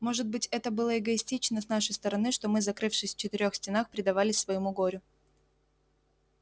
может быть это было эгоистично с нашей стороны что мы закрывшись в четырёх стенах предавались своему горю